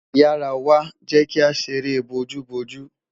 Yara wa, jẹ ki a ṣere booju booju